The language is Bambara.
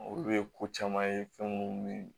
Olu ye ko caman ye fɛn munnu